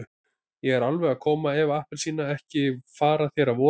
Ég er alveg að koma Eva appelsína, ekki fara þér að voða.